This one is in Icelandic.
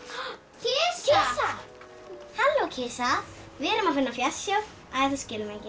kisa halló kisa við erum að finna fjársjóð æ þú skilur mig ekki